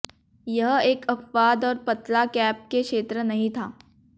यह एक अपवाद और पतला केप के क्षेत्र नहीं था